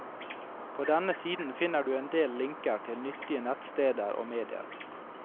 På denne siden finner du en del linker til nyttige nettsteder og medier.